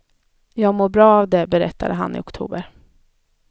Jag mår bra av det, berättade han i oktober.